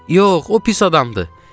Yox, o pis adamdır,